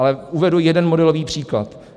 Ale uvedu jeden modelový příklad.